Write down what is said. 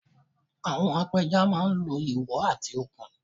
Àwọn apẹja máa ń lo ìwọ̀ àti okùn